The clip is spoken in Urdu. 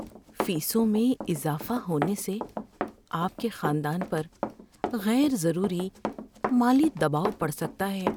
فیسوں میں اضافہ ہونے سے آپ کے خاندان پر غیر ضروری مالی دباؤ پڑ سکتا ہے۔